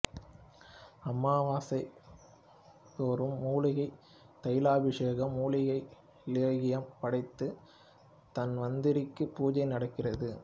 அமாவாசைதோறும் மூலிகை தைலாபிஷேகம் மூலிகை லேகியம் படைத்து தன்வந்திரிக்கு பூஜை நடக்கிறது